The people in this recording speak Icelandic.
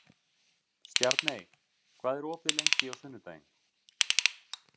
Stjarney, hvað er opið lengi á sunnudaginn?